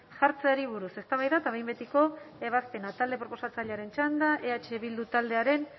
jartzeari buruz eztabaida eta behin betiko ebazpena talde proposatzailearen txanda eh bildu taldearen